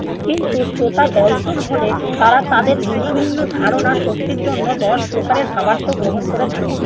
কিন্তু শ্রোতা দশজন হলে তারা তাদের ভিন্ন ভিন্ন ধারণা শক্তির জন্য দশ প্রকারের ভাবার্থ গ্রহণ করে থাকেন।